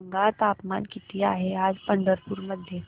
सांगा तापमान किती आहे आज पंढरपूर मध्ये